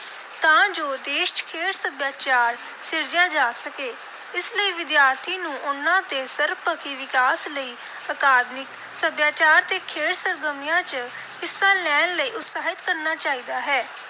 ਤਾਂ ਜੋ ਦੇਸ਼ ਚ ਖੇਡ ਸੱਭਿਆਚਾਰ ਸਿਰਜਿਆ ਜਾ ਸਕੇ। ਇਸ ਲਈ ਵਿਦਿਆਰਥੀ ਨੂੰ ਉਨ੍ਹਾਂ ਦੇ ਸਰਬਪੱਖੀ ਵਿਕਾਸ ਲਈ ਅਕਾਦਮਿਕ, ਸੱਭਿਆਚਾਰ ਤੇ ਖੇਡ ਸਰਗਰਮੀਆਂ ਚ ਹਿੱਸਾ ਲੈਣ ਲਈ ਉਤਸ਼ਾਹਿਤ ਕਰਨਾ ਚਾਹੀਦਾ ਹੈ।